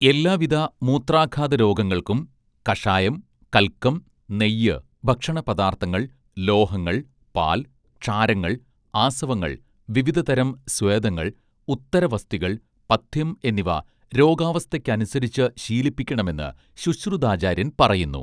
എല്ലാവിധ മൂത്രാഘാതരോഗങ്ങൾക്കും കഷായം കല്ക്കം നെയ്യ് ഭക്ഷണപദാർഥങ്ങൾ ലോഹങ്ങൾ പാൽ ക്ഷാരങ്ങൾ ആസവങ്ങൾ വിവിധതരം സ്വേദങ്ങൾ ഉത്തരവസ്തികൾ പഥ്യം എന്നിവ രോഗാവസ്ഥയ്ക്കനുസരിച്ച് ശീലിപ്പിക്കണമെന്ന് ശുശ്രുതാചാര്യൻ പറയുന്നു